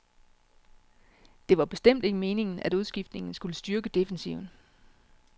Det var bestemt ikke meningen, at udskiftningen skulle styrke defensiven.